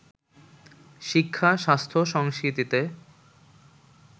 শিক্ষা-স্বাস্থ্য-সংস্কৃতিতে